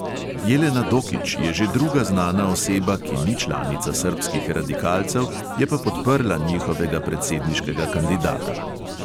Jelena dokić je že druga znana oseba, ki ni članica srbskih radikalcev, je pa podprla njihovega predsedniškega kandidata.